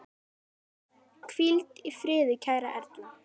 Hvíldu í friði kæra Erla.